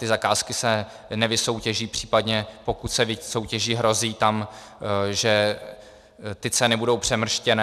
Ty zakázky se nevysoutěží, případně pokud se vysoutěží, hrozí tam, že ty ceny budou přemrštěné.